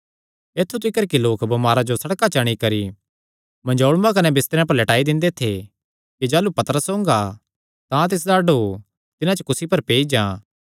ऐत्थु तिकर कि लोक बमारां जो सड़कां च अंणी करी मंजोल़ूयां कने बिस्तरेयां पर लैटाई दिंदे थे कि जाह़लू पतरस ओंगा तां तिसदा डोह तिन्हां च कुसी पर पेई जां